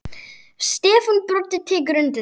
Stefán Broddi tekur undir þetta.